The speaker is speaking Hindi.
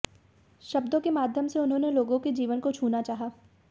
शब्दों के माध्यम से उन्होंने लोगों के जीवन को छूना चाहा